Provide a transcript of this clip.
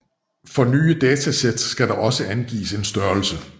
For nye dataset skal der også angives en størrelse